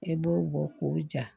I b'o bɔ k'o ja